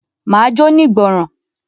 Máa jóní ìgbọràn.